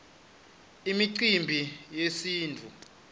imicimbi yesintfu